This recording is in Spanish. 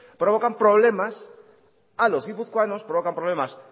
provocan problemas a los guipuzcoanos provocan problemas